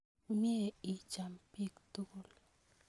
Mye icham pik tukul